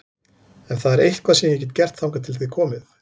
Ef það er eitthvað sem ég get gert þangað til þið komið